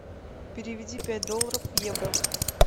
переведи пять долларов в евро